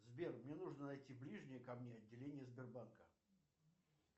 сбер мне нужно найти ближнее ко мне отделение сбербанка